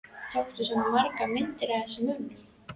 Tókstu svona margar myndir af þessum mönnum?